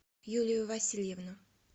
юлию васильевну